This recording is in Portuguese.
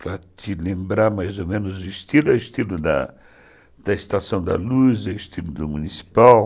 Para te lembrar mais ou menos o estilo, o estilo da da Estação da Luz, o estilo do municipal.